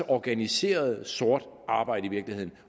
organiseret sort arbejde